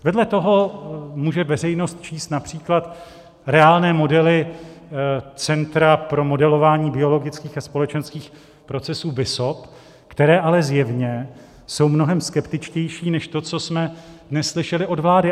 Vedle toho může veřejnost číst například reálné modely Centra pro modelování biologických a společenských procesů, BISOP, které ale zjevně jsou mnohem skeptičtější než to, co jsme dnes slyšeli od vlády.